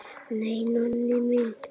Nei, Nonni minn.